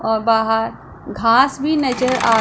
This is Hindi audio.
और बाहर घास भी नजर आ--